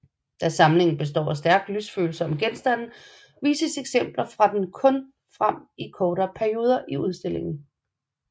Da samlingen består af stærkt lysfølsomme genstande vises eksempler fra den kun frem i kortere perioder i udstillinger